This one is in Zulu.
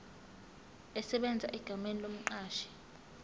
esebenza egameni lomqashi